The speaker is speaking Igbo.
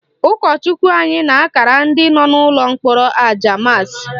Ụkọchukwu anyị na-akara ndị nọ n'ụlọ mkpọrọ aja maasị